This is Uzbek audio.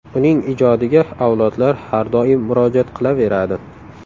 Uning ijodiga avlodlar har doim murojaat qilaveradi.